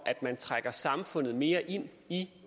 at man trækker samfundet mere ind i